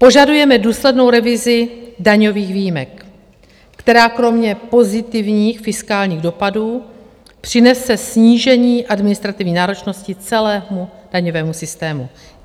Požadujeme důslednou revizi daňových výjimek, která kromě pozitivních fiskálních dopadů přinese snížení administrativní náročnosti celému daňovému systému.